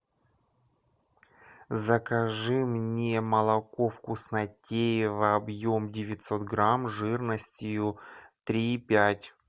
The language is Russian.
закажи мне молоко вкуснотеево объем девятьсот грамм жирностью три и пять